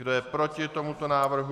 Kdo je proti tomuto návrhu?